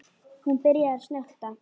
Hún byrjar að snökta.